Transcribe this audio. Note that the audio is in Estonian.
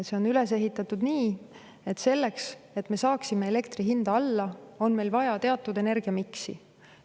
See on üles ehitatud nii, et selleks, et me saaksime elektri hinda alla, on meil vaja teatud energiamiksi.